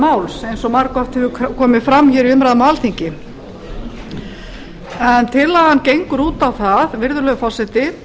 máls eins og margoft hefur komið fram í umræðum hér á alþingi en tillagan gengur út á það virðulegur forseti